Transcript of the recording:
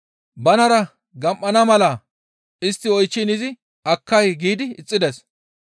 Banara gam7ana mala istti oychchiin izi, «Akkay» giidi ixxides.